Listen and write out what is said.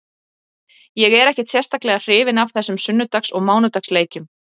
Ég er ekkert sérstaklega hrifinn af þessum sunnudags og mánudags leikjum.